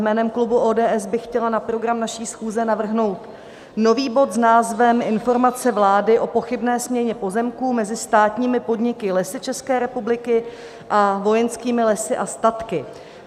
Jménem klubu ODS bych chtěla na program naší schůze navrhnout nový bod s názvem Informace vlády o pochybné směně pozemků mezi státními podniky Lesy České republiky a Vojenskými lesy a statky.